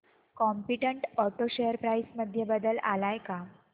competent auto share price मध्ये बदल आलाय का